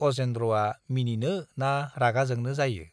अजेन्द्रआ मिनिनो ना रागा जोंनो जायो।